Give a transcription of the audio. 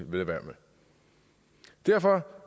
vil gøre derfor